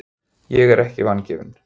Ég er ekki vangefin.